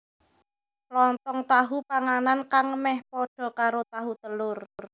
Lontong tahu Panganan kang meh padha karo tahu telur